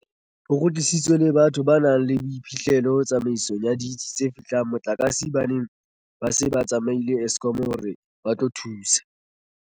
Ho kgutlisitswe le batho ba nang le boiphihlelo tsamaisong ya ditsi tse fehlang motlakase ba neng ba se ba tsamaile Eskom hore ba tlo thusa.